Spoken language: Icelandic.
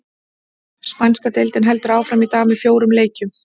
Spænska deildin heldur áfram í dag með fjórum leikjum.